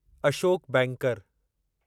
Ashok banker